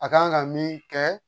A kan ka min kɛ